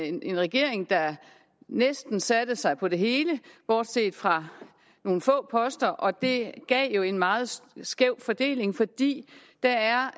en regering der næsten satte sig på det hele bortset fra nogle få poster og det gav jo en meget skæv fordeling fordi der er